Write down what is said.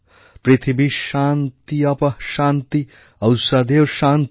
পৃথিবী শান্তি অপঃ শান্তি ঔষধও শান্তিঃ